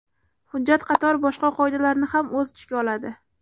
Hujjat qator boshqa qoidalarni ham o‘z ichiga oladi.